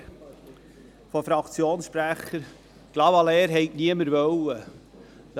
Ich habe hier von Fraktionssprechern gehört, niemand hätte Clavaleyres gewollt.